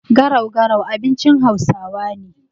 Garau-garau abinci hausawa ne.